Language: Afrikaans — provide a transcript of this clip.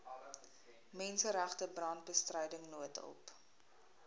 menseregte brandbestryding noodhulp